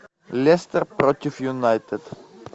лестер против юнайтед